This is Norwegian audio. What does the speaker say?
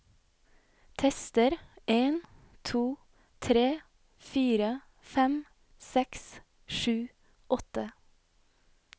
Tester en to tre fire fem seks sju åtte